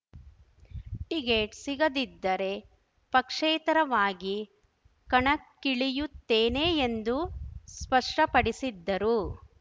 ticket ಸಿಗದಿದ್ದರೆ ಪಕ್ಷೇತರವಾಗಿ ಕಣಕ್ಕಿಳಿಯುತ್ತೇನೆ ಎಂದು ಸ್ಪಷ್ಟಪಡಿಸಿದ್ದರು